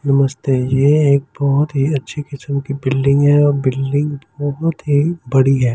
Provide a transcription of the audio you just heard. नमस्ते यह एक बहुत ही अच्छे किस्म की बिल्डिंग है और बिल्डिंग बहुत ही बड़ी है ।